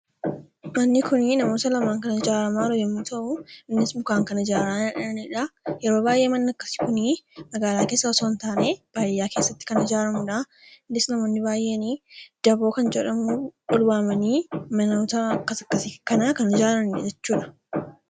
Manni kun namoota lamaan kan ijaaramaa jiru yommuu ta'u, innis mukaan kan ijaaraaa jiranidha. Yeroo baay'ee manni akkasii kuni magaalaa keessa otoo hin taane baadiyyaa keessatti kan ijaaramudha. Innis namoonni baay'een daybook kan jedhamu walitti waamanii manoota akkas akkasii kana kan ijaaranidha jechuudha.